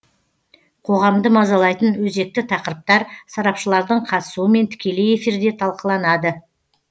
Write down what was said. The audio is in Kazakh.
қоғамды мазалайтын өзекті тақырыптар сарапшылардың қатысуымен тікелей эфирде талқыланады